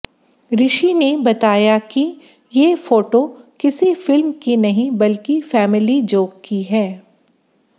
ऋषि ने बताया कि ये फोटो किसी फिल्म की नहीं बल्कि फैमिली जोक की है